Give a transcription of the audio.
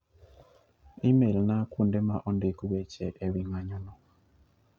E-mailna kuonde ma ondik weche e wi ng'anyono